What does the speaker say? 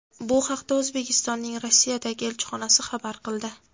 Bu haqda O‘zbekistonning Rossiyadagi elchixonasi xabar qildi.